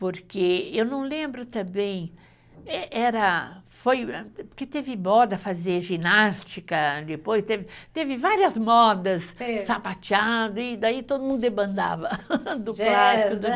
Porque eu não lembro também, era, foi, porque teve moda fazer ginástica depois, teve várias modas, sapateado, e daí todo mundo demandava do clássico, do jazz.